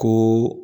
Ko